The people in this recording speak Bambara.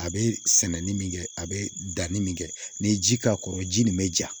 A bɛ sɛnɛni min kɛ a bɛ danni min kɛ n'i ye ji k'a kɔrɔ ji nin bɛ ja